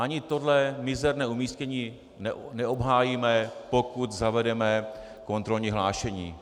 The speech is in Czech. Ani tohle mizerné umístění neobhájíme, pokud zavedeme kontrolní hlášení.